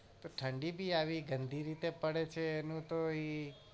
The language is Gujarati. તો ઠંડી બી આવી ગંધી રીતે પડે છે એ નું તો એ